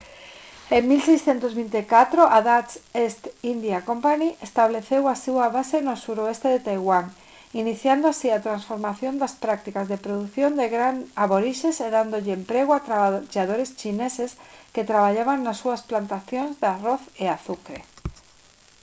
en 1624 a dutch east india company estableceu a súa base no suroeste de taiwán iniciando así a transformación das prácticas de produción de gran aborixes e dándolle emprego a traballadores chineses que traballaban nas súas plantacións de arroz e azucre